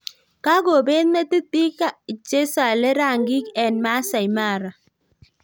Kagobet metit bik chesale ranging eng Maasai mara